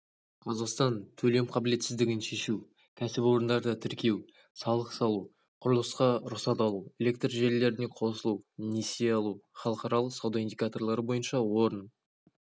қазақстан төлем қабілетсіздігін шешу кәсіпорындарды тіркеу салық салу құрылысқа рұқсат алу электр желілеріне қосылу несие алу халықаралық сауда индикаторлары бойынша орын